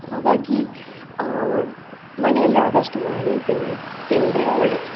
ಹಾಗಾಗಿ ಅಹ್ ಮನೆಯಲ್ಲಿ ಆದಷ್ಟು ಮಾಡಿ ತಿನ್ನಿ ತಿಂದ್ರೆ ಒಳ್ಳೇದು.